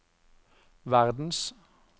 verdens